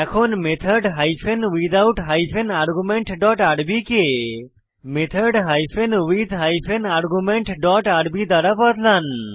এখন method hyphen without hyphen argument dot RB কে method hyphen with hyphen argument dot RB দ্বারা বদলান